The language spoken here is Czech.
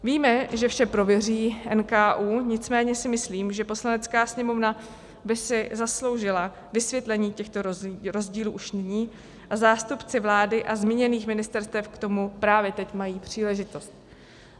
Víme, že vše prověří NKÚ, nicméně si myslím, že Poslanecká sněmovna by si zasloužila vysvětlení těchto rozdílů už nyní, a zástupci vlády a zmíněných ministerstev k tomu právě teď mají příležitost.